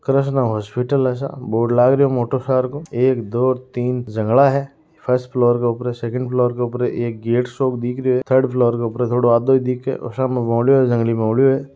Krishna hospital है सा board लागरो है मोटो सारो को एक दो तीन जंगला है फर्स्ट फ्लोर पर सेकंड फ्लोर पर गेट दिखे थर्ड फ्लोर थोड़ो सो आधो ही दिखे --